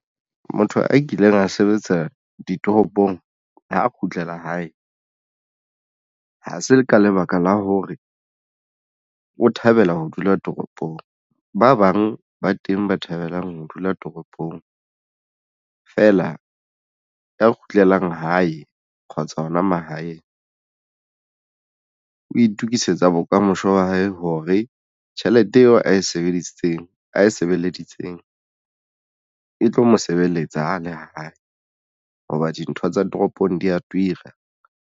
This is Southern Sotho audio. Motho a kileng a sebetsa ditoropong ha kgutlela hae ha se le ka lebaka la hore o thabela ho dula toropong ba bang ba teng ba thabelang ho dula toropong fela ya kgutlelang hae kgotsa hona mahaeng o itukisetsa bokamoso wa hae hore tjhelete eo ae sebedisitseng a e sebeleditseng e tlo mo sebeletsa a le hae. Hoba dintho tsa toropong di ya toira.